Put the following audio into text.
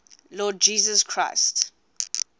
lord jesus christ